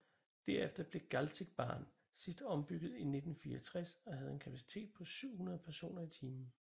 Derefter blev Galzigbahn sidst ombygget i 1964 og havde en kapacitet på 700 personer i timen